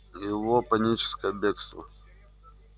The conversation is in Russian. и его паническое бегство